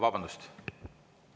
Vabandust!